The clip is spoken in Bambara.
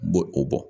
Bɔ o bɔ